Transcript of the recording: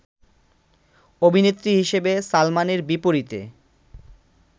অভিনেত্রী হিসেবে সালমানের বিপরীতে